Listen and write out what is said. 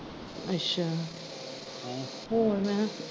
ਅੱਛਾ, ਹੋਰ ਮੈ ਕਿਹਾ?